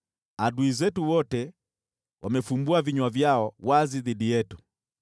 “Adui zetu wote wamefumbua vinywa vyao wazi dhidi yetu.